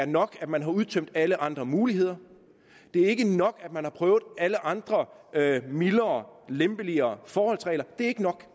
nok at man har udtømt alle andre muligheder det er ikke nok at man har prøvet alle andre mildere lempeligere forholdsregler det er ikke nok